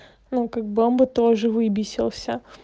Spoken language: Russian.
ну как бы он бы тоже выбесился